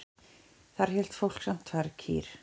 Þar hélt fólk samt tvær kýr.